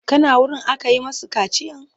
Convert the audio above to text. Ka na wurin aka yi masu kaciyan?